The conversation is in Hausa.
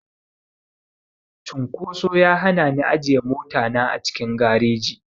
Cunkoso ya hana ni ajiye mota na a cikin gareji.